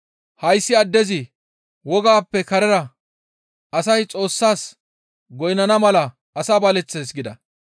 «Hayssi addezi wogappe karera asay Xoossas goynnana mala asaa baleththees» gida.